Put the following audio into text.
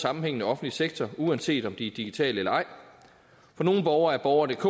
sammenhængende offentlig sektor uanset om de er digitale eller ej for nogle borgere er borgerdk